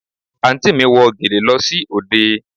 Àǹtí mi wọ gèlè lọ sí òde